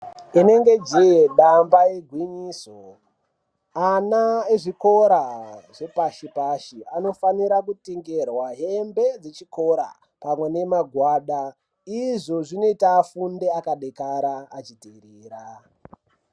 Inenge jee damba igwinyiso, ana ezvikora zvepashi-pashi anofanira kutengerwa hembe dzechikora pamwe nemagwada. Izvo zvinoita afunde akadekara achiteerera.